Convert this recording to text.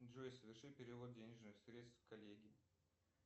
джой соверши перевод денежных средств коллеге